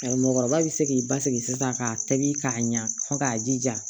Ayi mɔgɔkɔrɔba bi se k'i basigi sisan k'a tobi k'a ɲa fɔ k'a jija